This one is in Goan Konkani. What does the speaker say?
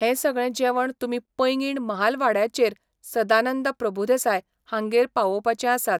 हें सगळें जेवण तुमी पैगीण महालवाड्याचेर सदानंद प्रभुदेसाय हांगेर पावोवपाचें आसात.